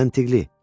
Məntiqdir.